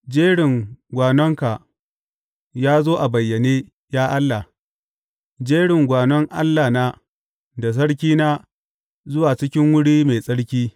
Jerin gwanonka ya zo a bayyane, ya Allah, jerin gwanon Allahna da Sarkina zuwa cikin wuri mai tsarki.